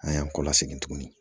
An y'an kɔ lasegin tugun